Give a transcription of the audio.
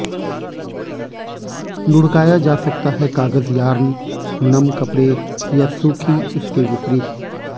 लुढ़काया जा सकता है कागज यार्न नम कपड़े या सूखी इसके विपरीत